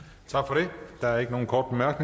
der er ikke nogen korte